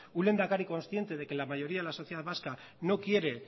un lehendakari consciente de que la mayoría de la sociedad vasca no quiere